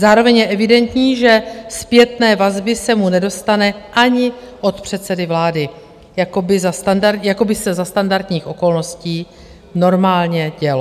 Zároveň je evidentní, že zpětné vazby se mu nedostane ani od předsedy vlády, jak by se za standardních okolností normálně dělo.